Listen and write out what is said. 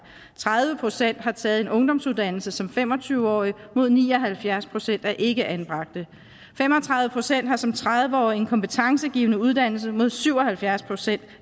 tredive procent har taget en ungdomsuddannelse som fem og tyve årig mod ni og halvfjerds procent blandt ikkeanbragte fem og tredive procent har som tredive årig en kompetencegivende uddannelse mod syv og halvfjerds procent